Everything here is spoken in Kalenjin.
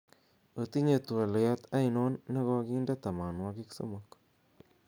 otinye twolyot ainon negoginde tomonwogik somok